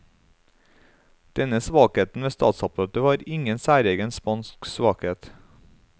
Denne svakheten ved statsapparatet var ingen særegen spansk svakhet.